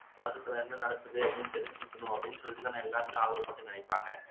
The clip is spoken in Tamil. உலகத்துல என்ன நடக்குது அப்படின்னு தெரிஞ்சுக்கணும் அப்படின்னு சொல்லித்தான எல்லோருமே நினைப்பாங்க